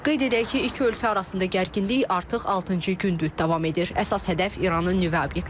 Qeyd edək ki, iki ölkə arasında gərginlik artıq altıncı gündür davam edir, əsas hədəf İranın nüvə obyektləridir.